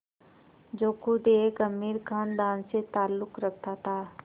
जो ख़ुद एक अमीर ख़ानदान से ताल्लुक़ रखता था